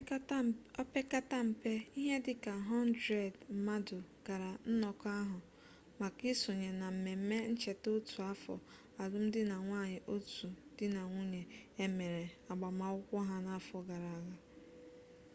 opekata mpe ihe dịka 100 mmadụ gara nnọkọ ahụ maka isonye na mmemme ncheta otu afọ alụmdinanwunye otu di na nwunye e mere agbamakwụkwọ ha n'afọ gara aga